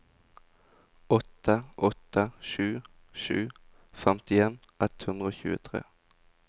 åtte åtte sju sju femtien ett hundre og tjuetre